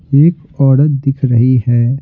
एक औरत दिख रही है।